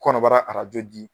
Kɔnɔbara arajo di